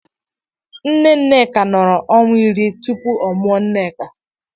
Nne Nneka nọrọ ọnwa iri tupu ọ mụọ ya Nneka.